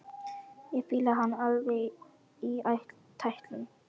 Ég fíla hann alveg í tætlur!